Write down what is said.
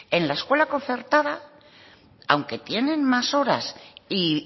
en la escuela concertada aunque tienen más horas y